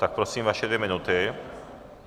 Tak prosím, vaše dvě minuty.